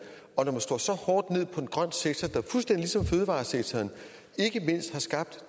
og når man slår så hårdt ned på en grøn sektor der fuldstændig ligesom fødevaresektoren ikke mindst har skabt